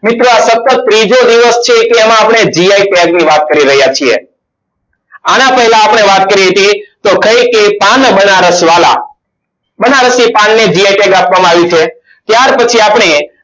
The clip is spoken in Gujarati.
મિત્રો આ સતત ત્રીજો દિવસ છે. જેમાં આપણે gi tag ની વાત કરી રહ્યા છીએ. આના પહેલા આપણે વાત કરી હતી તો ખાઈ કે પાન બનારસ વાલા બનારસી પાનને gi tag આપવામાં આવ્યું છે ત્યાર પછી આપણે